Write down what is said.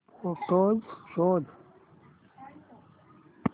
photos शोध